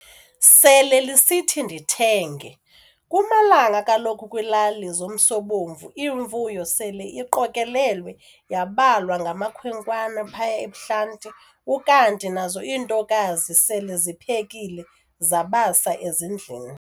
Sele lisithi ndithenge, kumalanga kaloku kwilali zomsobomvu iimfuyo sele iqokelwe yabalwa ngamakhwenkwane phaya ebuhlanti ukanti nazo iintokazi sele ziphekile zabasa ezindlini.